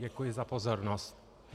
Děkuji za pozornost.